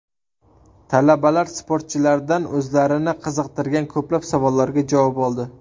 Talabalar sportchilardan o‘zlarini qiziqtirgan ko‘plab savollarga javob oldi.